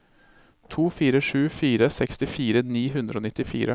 to fire sju fire sekstifire ni hundre og nittifire